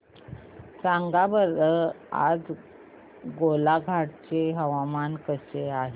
सांगा बरं आज गोलाघाट चे हवामान कसे आहे